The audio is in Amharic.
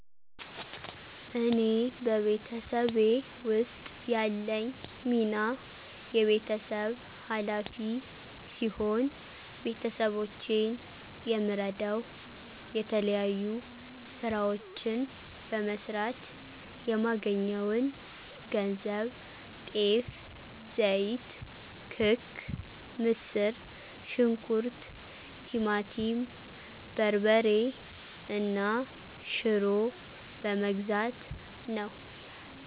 እኔ በቤተሰቤ ውስጥ ያለኝ ሚና የቤተሰብ ኋላፊ ሲሆን፤ ቤተሰቦቼን የምረደዉ የተለያዩ ስራዎችን በመስራት የማገኘውን ገንዘብ ጤፍ፣ ዘይት፣ ክክ፣ ምስር ሽንኩርት፣ ቲማቲም በርበሬ እና ሽሮ በመግዛት ነው።